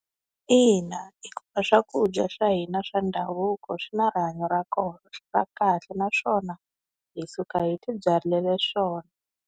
Ina hikuva swakudya swa hina swa ndhavuko swi na rihanyo ra kona ra kahle naswona hi suka hi ti byalela swona.